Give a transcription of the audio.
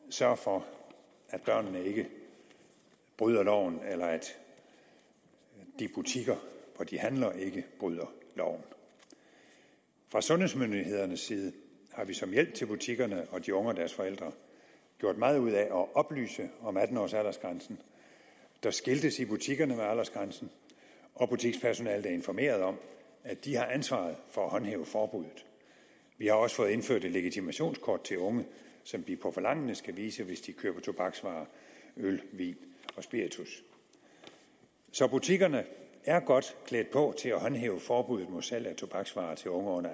sørge for at børnene ikke bryder loven eller at de butikker hvor de handler ikke bryder loven fra sundhedsmyndighedernes side har vi som hjælp til butikkerne og de unge og deres forældre gjort meget ud af at oplyse om atten års aldersgrænsen der skiltes i butikkerne og butikspersonalet er informeret om at de har ansvaret for at håndhæve forbuddet vi har også fået indført et legitimationskort til unge som de på forlangende skal vise hvis de køber tobaksvarer øl vin og spiritus så butikkerne er godt klædt på til at håndhæve forbuddet mod salg af tobaksvarer til unge